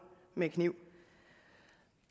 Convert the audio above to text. med kniv